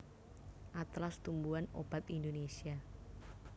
Atlas Tumbuhan Obat Indonesia